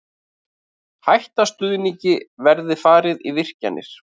Hætta stuðningi verði farið í virkjanir